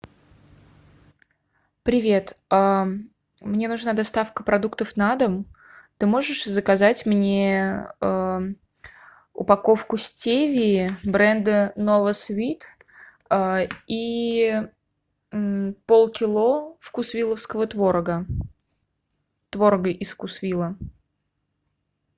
привет мне нужна доставка продуктов на дом ты можешь заказать мне упаковку стевии бренда новасвит и полкило вкусвилловского творога творога из вкусвилла